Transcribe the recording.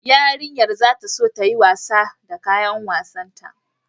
Yarinyar za ta so ta yi wasa da kayan wasanta